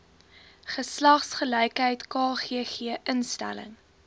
geslagsgelykheid kgg instelling